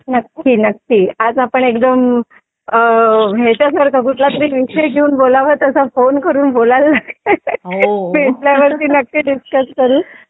नक्की नक्की आज आपण एकदम याच्यासारखा कुठलातरी विषय घेऊन बोलावं तसं फोन करून बोलायला लागलोय भेटल्यावरती नक्की डिस्कस करू